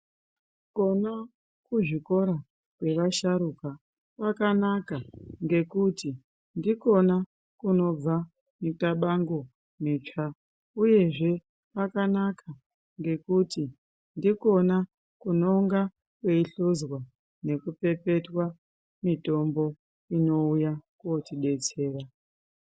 Kona kuzvikora kwevasharuka kwakanaka ngekuti ndikona kunobva mitabango mitsva, uyezve kwakanaka ngekuti ndikona kunonga kweihluzwa nekupepetwa mitombo inouya kotibetsera.